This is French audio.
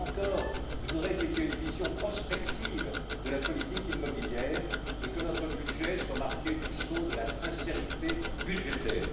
Eh bien, là encore, je voudrais qu'il y ait une vision prospective de la politique immobilière et que notre budget soit marqué du sceau de la sincérité budgétaire.